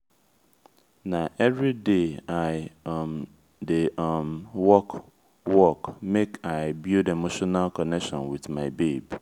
na everyday i um dey um work work make i build emotional connection wit my babe.